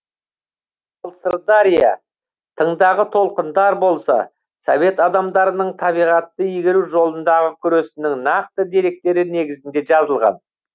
сырдария тыңдағы толқындар болса совет адамдарының табиғатты игеру жолындағы күресінің нақты деректері негізінде жазылған